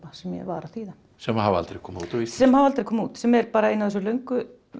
sem ég var að þýða sem hafa aldrei komið út á sem hafa aldrei komið út sem er ein af þessum löngu